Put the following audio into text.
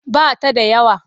Ba ta da yawa.